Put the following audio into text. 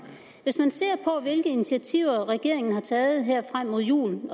hvis man ser på hvilke initiativer regeringen har taget her frem mod julen